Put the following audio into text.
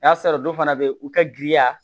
O y'a sɔrɔ dɔ fana bɛ u ka giriya